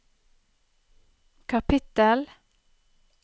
kapittel